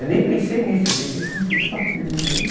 Eu nem pensei nisso, eu pensei que a música estava terminando.